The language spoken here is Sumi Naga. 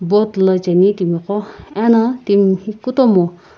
boat la cheni timiqo ena timi kutomo.